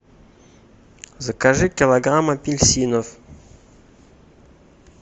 закажи килограмм апельсинов